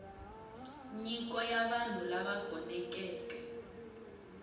nyiko ya vanhu lava gonekeke